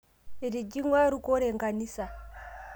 Etijikwua rukore nkanisa